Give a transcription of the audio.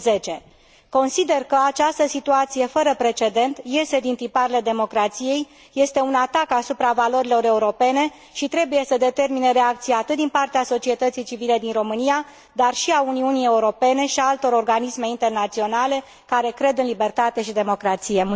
2010. Consider că această situație fără precedent iese din tiparele democrației, este un atac asupra valorilor europene și trebuie să determine reacții atât din partea societății civile din România, dar și a Uniunii Europene și a altor organisme internaționale care cred în libertate și democrație.